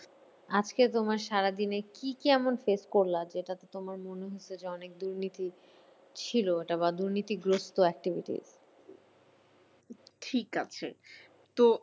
আজকে তোমার সারাদিনে কি কি এমন fresh করলা যেটাতে তোমার মনে হচ্ছে যে অনেক দুর্নীতি ছিল এটা বা দুর্নীতিগ্রস্ত activity ঠিক আছে তো